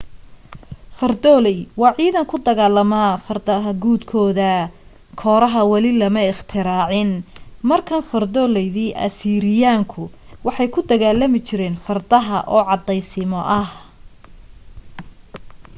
fardoolay waa ciidan ku kor dagaalama fardaha guudkooda kooraha weli lama ikhtiraacin markaan fardooladii asiiriyaanku waxay ku dagaalami jireen fardaha oo caddaysimo ah